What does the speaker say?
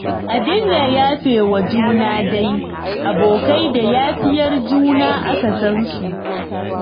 A dinga yafe wa juna dai, abokai da yafiyar juna aka san su